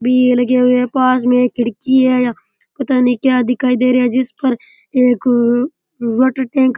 भी लगे हुए है पास में एक खिड़की है पता नहीं क्या दिखाई दे रहा है जिस पर एक वाटर टैंक --